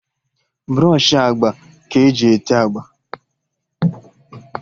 Brọshị agba ka eji ete agba